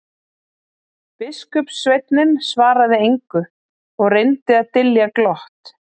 Biskupssveinninn svaraði engu og reyndi að dylja glott.